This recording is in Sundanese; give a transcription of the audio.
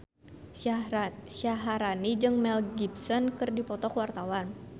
Syaharani jeung Mel Gibson keur dipoto ku wartawan